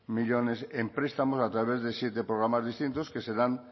millónes en prestamos a través de siete programas distintos que serán